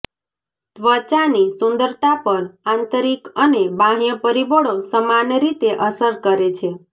ત્વચાની સુંદરતા પર આંતરિક અને બાહ્ય પરિબળો સમાન રીતે અસર કરે છે